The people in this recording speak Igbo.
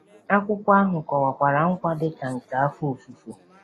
Akwụkwọ ahụ kọwakwara nkwa dị ka nke afọ ofufo.